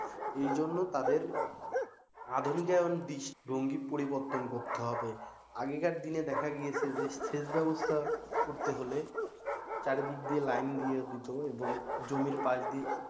এই জন্য তাদের আধুনিক এবং দৃষ্টি ভঙ্গির পরিবর্তন করতে হবে আগেকর দিনে দেখা গিয়েছে যে সেচ ব্যবস্থা করতে হলে চারিদিক দিয়ে line দিত এবং জমির পাশ দিয়ে,